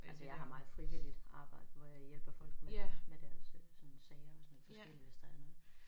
Altså jeg har meget frivilligt arbejde hvor jeg hjælper folk med med deres øh sådan sager og sådan noget forskelligt hvis der er noget